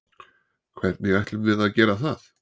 Hvernig ætlum við að gera það?